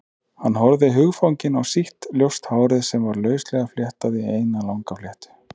Hann horfði hugfanginn á sítt, ljóst hárið sem var lauslega fléttað í eina langa fléttu.